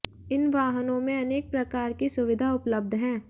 इन वाहनों में अनेक प्रकार की सुविधा उपलब्ध हैं